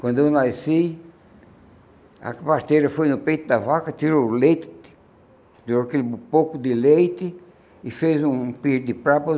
Quando eu nasci, a pasteira foi no peito da vaca, tirou o leite, tirou aquele pouco de leite e fez um pire de papa.